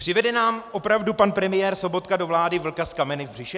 Přivede nám opravdu pan premiér Sobotka do vlády vlka s kameny v břiše?